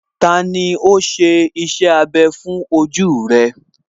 Tani ó ṣe iṣẹ́ abẹ fún ojú rẹ̀?